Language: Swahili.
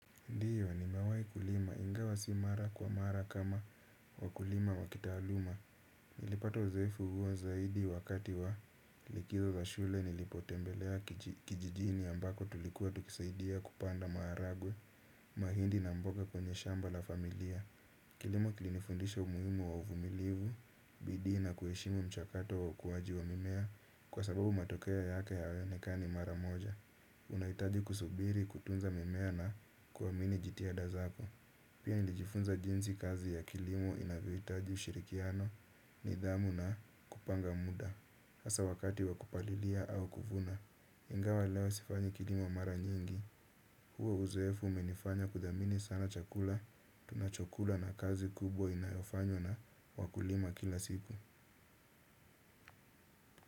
Ndiyo nimewai kulima ingawa si mara kwa mara kama wakulima wakitaaluma. Nilipata uzoefu huo zaidi wakati wa likizo za shule nilipotembelea kijijini ambako tulikuwa tukisaidia kupanda maharagwe mahindi na mboga kwenye shamba la familia. Kilimo kilifundisha umuimu wa uvumilivu, bidii na kueshimu mchakato wa ukuwaji wa mimea kwa sababu matokea yake hayaonekani mara moja unaitaji kusubiri, kutunza mimea na kuwamini jitihada zako. Pia nlilijifunza jinzi kazi ya kilimo inavyoitaji ushirikiano, nidhamu na kupanga muda asa wakati wakupalilia au kuvuna. Ingawa leo sifanyi kilimo mara nyingi huo uzuefu umenifanya kudhamini sana chakula, tunachokula na kazi kubwa inayofanywa na wakulima kila siku.